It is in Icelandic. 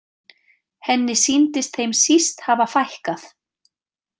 Henni sýndist þeim síst hafa fækkað.